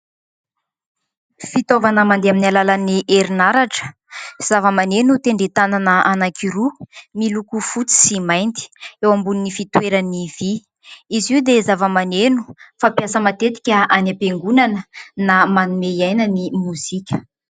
Fitaovana mandeha amin'ny alalan'ny herinaratra, zava-maneno tendren-tanana anankiroa miloko fotsy sy mainty, eo ambonin'ny fitoerany vy. izy io dia zava-maneno fampiasa matetika any am-piangonana na manome aina ny mozika.